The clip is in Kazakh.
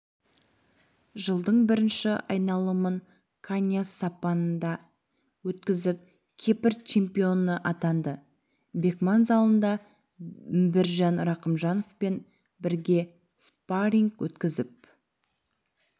жылдың бірінші айналымын каньяс сапында өткізіп кипр чемпионы атанды бекман залында міржан рахымжановпен бірге спарринг өткізіп